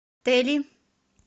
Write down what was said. тели